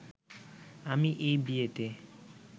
আমি এই বিয়েতে